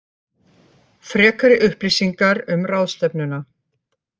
Frekari upplýsingar um ráðstefnuna